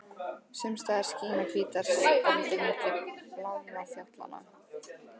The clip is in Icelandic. Sums staðar skína hvítar strendur milli blárra fjallanna.